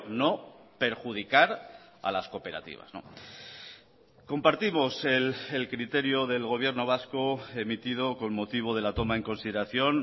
no perjudicar a las cooperativas compartimos el criterio del gobierno vasco emitido con motivo de la toma en consideración